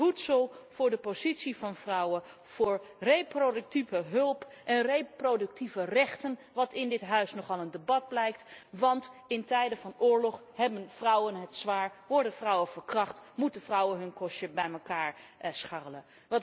Voor voedsel, voor de positie van vrouwen, voor reproductieve hulp en reproductieve rechten wat in dit huis nogal een debat blijkt want in tijden van oorlog hebben vrouwen het zwaar, worden vrouwen verkracht, moeten vrouwen hun kostje bij elkaar scharrelen.